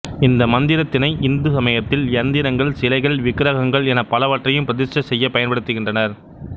இந்த மந்திரத்தினை இந்து சமயத்தில் யந்திரங்கள் சிலைகள் விக்ரகங்கள் என பலவற்றையும் பிரதிஸ்டை செய்ய பயன்படுத்துகின்றனர்